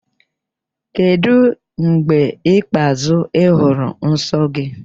Kedu mgbe ikpeazụ ị hụrụ nsọ gị?